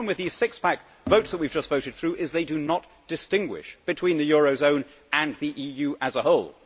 The problem with these six pack votes that we have just voted through is that they do not distinguish between the eurozone and the EU as a whole.